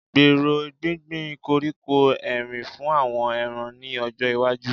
Gbèrò gbíngbin koríko Erin fún àwọn ẹran ní ọjọ́ iwájú